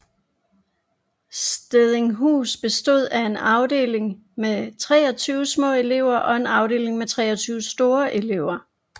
Stedinghus bestod af en afdeling med 23 små elever og en afdeling med 23 store elever